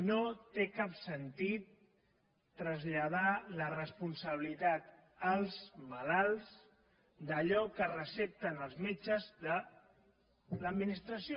no té cap sentit traslladar la responsabilitat als malalts d’allò que recepten els metges de l’administració